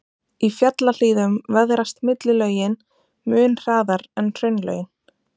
Í fjallahlíðum veðrast millilögin mun hraðar en hraunlögin.